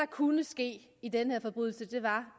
kunne ske i den her forbrydelse var